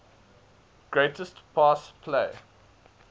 greatest pass play